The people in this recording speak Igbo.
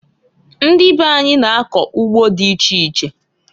Ndị be anyị na-akọ ugbo dị iche iche.